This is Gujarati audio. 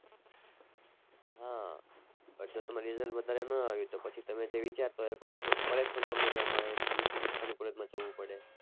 હા જે તમારે result વધારે ના આવ્યું તો પછી તમે જે વિચારતા હોય એ કોલેજ કોલેજ પણ તમને ના મળે એનાથી નીચી કક્ષા ની કોલેજ માં જવું પડે.